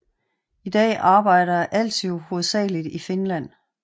I dag arbejder Aaltio hovedsageligt i Finland